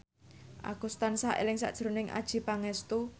Agus tansah eling sakjroning Adjie Pangestu